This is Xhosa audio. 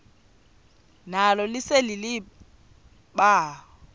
nalo lise libaha